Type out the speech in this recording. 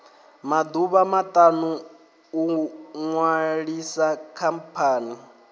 maḓuvha maṱanu u ṅwalisa khamphani